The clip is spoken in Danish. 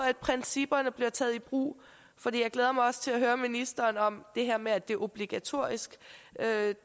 at principperne bliver taget i brug for jeg glæder mig også til at høre ministeren om det her med at det er obligatorisk